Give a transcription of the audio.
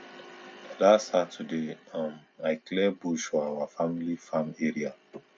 last saturday um i clear bush for our family farm area